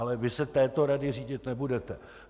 Ale vy se touto radou řídit nebudete.